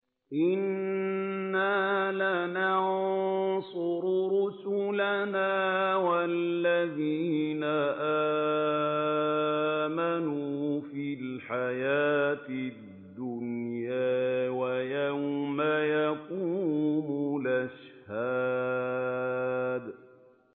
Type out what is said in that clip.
إِنَّا لَنَنصُرُ رُسُلَنَا وَالَّذِينَ آمَنُوا فِي الْحَيَاةِ الدُّنْيَا وَيَوْمَ يَقُومُ الْأَشْهَادُ